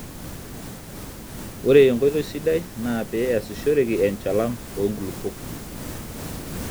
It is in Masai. ore enkoitoi sidai naa pee eeasishoreki enchalan oo nkulupuok